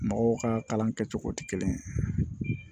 Mɔgɔw ka kalan kɛcogo tɛ kelen ye